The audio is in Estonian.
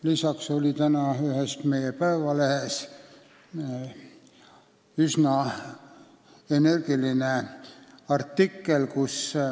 Lisaks oli täna ühes meie päevalehes üsna energiline artikkel.